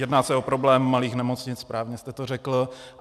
Jedná se o problém malých nemocnic, správně jste to řekl.